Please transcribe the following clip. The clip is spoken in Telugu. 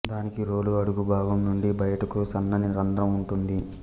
దానికి రోలు అడుగు భాగం నుండి బయటకు సన్నని రంధ్రం వుంటుంది